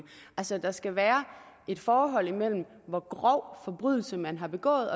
altså at der skal være et forhold imellem hvor grov forbrydelse man har begået